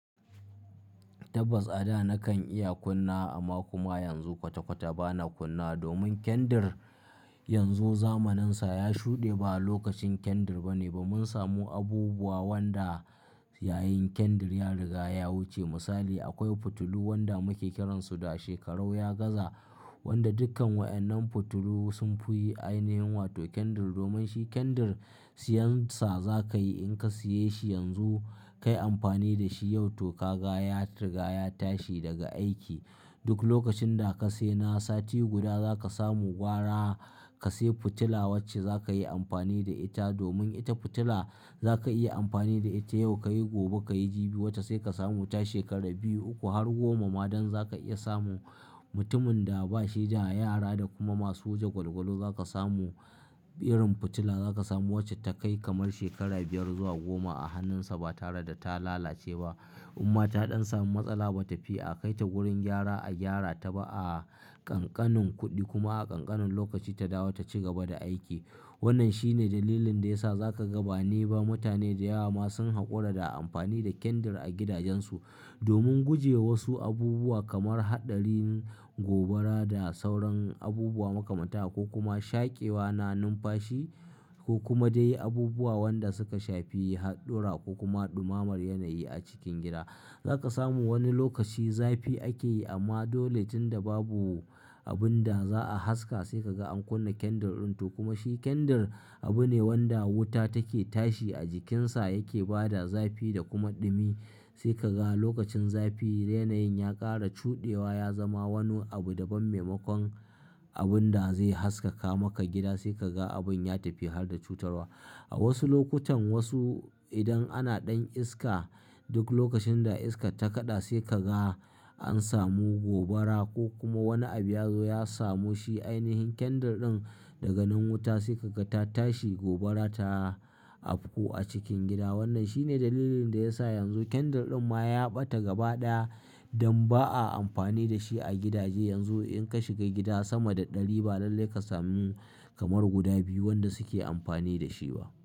Tabbas a da nakan iya kunna amma kuma yanzu kwata-kwata bana kunna domin kendir yanzu zamaninsa ya shuɗe, ba a lokacin kendir bane ba mun samu abubuwa wanda yayin kendir ya riga ya wuce. Misali akwai fitilu wanda muke kiransu da shekarau ya gaza, wanda dukkan wa'annan fitilu sun fi ainihin wato kendir domin shi kendir siyansa za ka yi in ka siya shi yanzu, kayi amfani da shi yau to ka gaya rigaya tashi daga aiki. Duk lokacin da ka sai na sati guda za ka samu gwara ka sai fitila wacce za ka yi amfani da ita domin ita fitila za ka iya amfani da ita yau kayi gobe kayi jibi wata sai ka samu ta shekara biyu uku har goma ma don za ka iya samu mutumin da ba shi da yara da kuma masu waje gwalgwalu za ka samu irin fitila za ka samu wacce ta kai kamar shekara biyar zuwa goma a hannunsa ba tare da ta lalace ba. Imma ta ɗan samu matsala ba ta fi a kai ta wurin gyara a gyara ta ba a kankanin kuɗi kuma a ƙanƙanin lokaci ta dawo ta ci gaba da aiki. Wannan shine dalilin da ya sa za ka ga ba ni ba mutane da yawa ma sun haƙura da amfani da kendir a gidajensu domin guje wa su abubuwa kamar haɗarin gobara da sauran abubuwa makamantan haka ko kuma shaƙewa na numfashi ko kuma dai abubuwa wanda suka shafi haɗura ko kuma ɗumammar yanayi a cikin gida. Za ka samu wani lokaci zafi ake yi amma dole tun da babu abun da za a haska sai ka ga an kunna kendor ɗin to kuma shi kendr abu ne wanda wuta take tashi a jikinsa yake bada zafi da kuma ɗumi. Sai ka ga lokacin zafi yenayin ya ƙara cuɗewa ya zama wani abu da ban maimakon abun da zai haskaka maka gida sai ka ga abun ya tafi har da cutarwa. A wasu lokutan wasu idan ana ɗan iska duk lokacin da iska ta kaɗa sai ka ga an samu gobara ko kuma wani abu ya zo ya samu shi ainihin kendir ɗin daga nan wuta sai ka ga ta tashi gobara ta afku a cikin gida. Wannan shine dalilin da ya sa yanzu kendir ɗin ma ya ɓata gaba ɗaya don ba a amfani da shi a gidaje. Yanzu in ka shiga gida sama da ɗari ba lallai ka samu kamar guda biyu wanda suke amfani da shi ba.